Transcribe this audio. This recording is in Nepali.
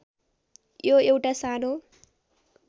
यो एउटा सानो